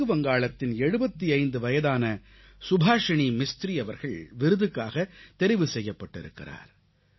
மேற்கு வங்காளத்தின் 75 வயதான சுபாஷிணி மிஸ்த்ரி அவர்கள் விருதுக்காகத் தெரிவு செய்யப்பட்டிருக்கிறார்